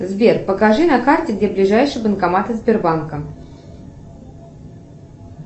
сбер покажи на карте где ближайшие банкоматы сбербанка